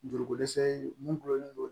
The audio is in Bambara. Juruko dɛsɛ ye mun don